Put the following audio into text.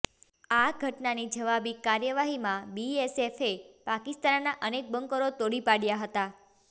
આ ઘટનાની જવાબી કાર્યવાહીમાં બીએસએફે પાકિસ્તાનના અનેક બંકરો તોડી પાડયા હતા